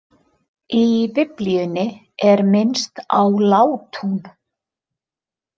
Í biblíunni er minnst á látún.